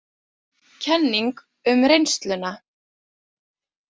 Kenning um reynsluna